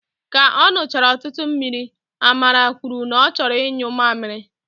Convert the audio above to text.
Ka ọ nụchara ọtụtụ mmiri, Amara kwuru na ọ chọrọ inyu mamịrị